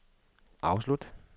afslut